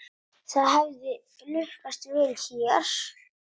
Það hefði lukkast vel hér.